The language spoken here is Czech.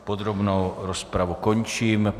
Podrobnou rozpravu končím.